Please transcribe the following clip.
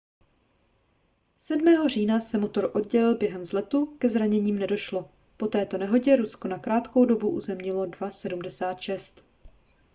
7. října se motor oddělil během vzletu ke zraněním nedošlo po této nehodě rusko na krátkou dobu uzemnilo il-76